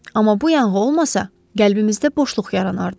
Amma bu yanğı olmasa, qəlbimizdə boşluq yaranardı.